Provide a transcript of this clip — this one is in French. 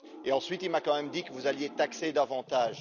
Ensuite, il m'a quand même dit que vous alliez taxer davantage.